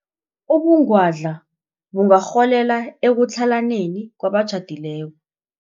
Ubungwadla bungarholela ekutlhalaneni kwabatjhadileko.